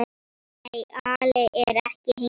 Nei, Alli er ekki heima.